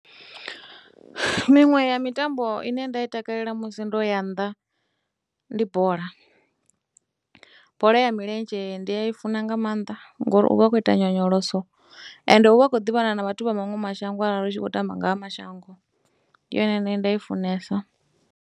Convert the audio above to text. Miṅwe ya mitambo ine nda i takalela musi ndo ya nnḓa ndi bola. Bola ya milenzhe ndi a i funa nga maanḓa ngori u vha a khou ita nyonyoloso ende u vha u khou ḓivhana na vhathu vha maṅwe mashango arali hu tshi khou tamba nga ha mashango. Ndi yone ine nda i funesa.